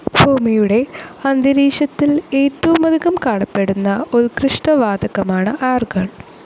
ഭൂമിയുടെ അന്തരീക്ഷത്തിൽ ഏറ്റവുമധികം കാണപ്പെടുന്ന ഉൽകൃഷ്ടവാതകമാണ് ആർഗോൺ.